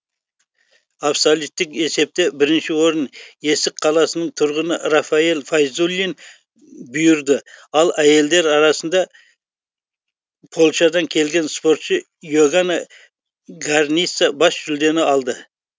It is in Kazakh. абсолюттік есепте бірінші орын есік қаласының тұрғыны рафаэль файзуллин бұйырды ал әйелдер арасында польшадан келген спортшы и огана граница бас жүлдені алды